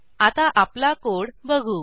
आता आपला कोड बघू